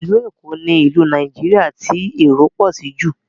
Ilu Ékò ni ìlú Nàìjíríà ti èrò pọ sí jù